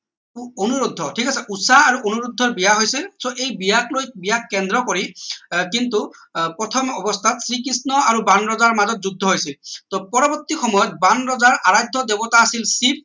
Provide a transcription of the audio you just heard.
অনুৰোদ্ধ ঠিক আছে উষা অনুৰোদ্ধ বিয়া হৈছিল so এই বিয়াক লৈ বিয়াক কেন্দ্ৰ কৰি আহ কিন্তু আহ প্ৰথম অৱস্থাত শ্ৰীকৃষ্ণ আৰু বাণ ৰজাৰ মাজত যুদ্ধ হৈছিল পৰৱৰ্তী সময়ত বাণ ৰজা আৰাধ্য দেৱতা আছিল শিৱ